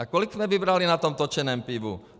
A kolik jsme vybrali na tom točeném pivu?